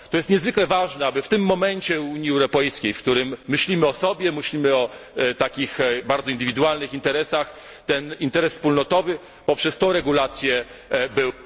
To jest niezwykle ważne, aby w tym momencie Unii Europejskiej, w którym myślimy o osobie, myślimy o takich bardzo indywidualnych interesach, ten interes wspólnotowy poprzez tę regulację był...